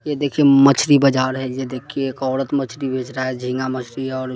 ये देखिए मच्छरी बाजार हैं। ये देखिए एक औरत मच्छरी बेच रहा है। झींगा मच्छरी और--